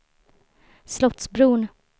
Slottsbron